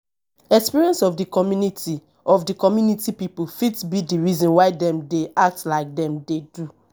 experience of di community of di community pipo fit be the reason why dem dey act like dem dey do